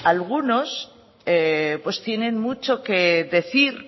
algunos pues tienen mucho que decir